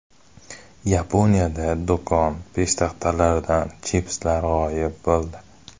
Yaponiyada do‘kon peshtaxtalaridan chipslar g‘oyib bo‘ldi.